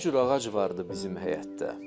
Hər cür ağac vardı bizim həyətdə.